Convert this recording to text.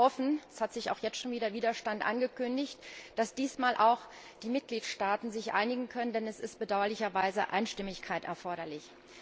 Wir hoffen es hat sich auch jetzt schon wieder Widerstand angekündigt dass sich dieses Mal auch die Mitgliedstaaten einigen können, denn es ist bedauerlicherweise Einstimmigkeit erforderlich.